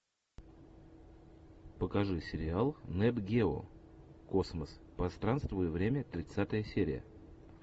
покажи сериал нет гео космос пространство и время тридцатая серия